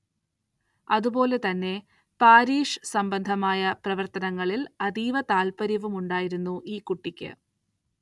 അതുപോലെ തന്നെ പാരിഷ് സംബന്ധമായ പ്രവർത്തനങ്ങളിൽ അതീവ താൽപര്യവുമുണ്ടായിരുന്നു ഈ കുട്ടിക്ക്.